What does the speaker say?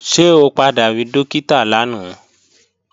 Ṣé o padà rí Dókítà lánàá?